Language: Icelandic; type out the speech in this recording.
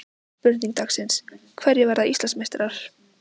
Spurning dagsins: Hverjir verða Íslandsmeistarar?